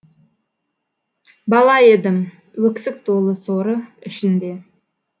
бала едім өксік толы соры ішінде